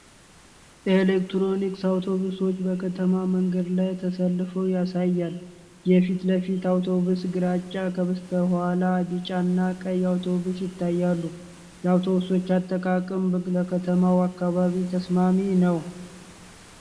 ኤሌክትሪክ አውቶቡሶች በከተማ መንገድ ላይ ተሰልፈው ያሳያል። የፊት ለፊት አውቶቡስ ግራጫ። ከበስተኋላ ቢጫና ቀይ አውቶቡሶች ይታያሉ። የአውቶቡሶቹ አጠቃቀም ለከተማው አካባቢ ተስማሚ ነው?